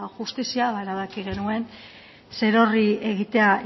justizia ba erabaki genuen zerorri egitea